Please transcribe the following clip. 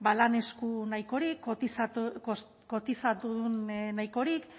lan esku nahikorik kotizatudun nahikorik